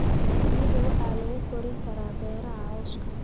Shinnidu waxa lagu korin karaa beeraha lawska.